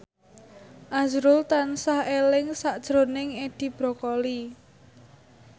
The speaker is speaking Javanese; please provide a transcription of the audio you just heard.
azrul tansah eling sakjroning Edi Brokoli